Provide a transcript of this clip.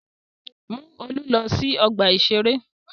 Mú Olú lọ sí ọgbà-ìṣeré!